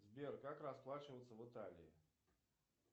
сбер как расплачиваться в италии